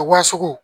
Wa sugu